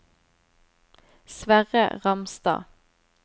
Sverre Ramstad